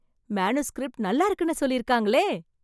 Manuscript நல்லா இருக்குன்னு சொல்லியிருக்காங்களே!